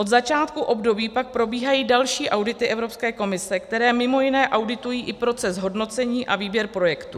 Od začátku období pak probíhají další audity Evropské komise, které mimo jiné auditují i proces hodnocení a výběr projektů.